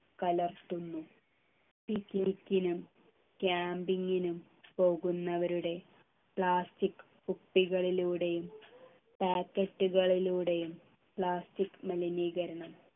കലർത്തുന്നു picnic നും camping നും പോകുന്നവരുടെ plastic കുപ്പികളിലൂടെയും packet കളിലൂടെയും plastic മലിനീകരണം